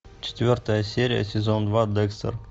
четвертая серия сезон два декстер